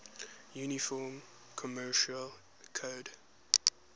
uniform commercial code